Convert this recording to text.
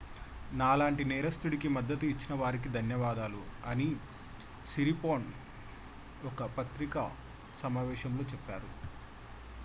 నాలాంటి నేరస్తుడికి మద్దతు ఇచ్చిన వారికి ధన్యవాదాలు అని సిరిపోర్న్ ఒక పత్రికా సమావేశంలో చెప్పారు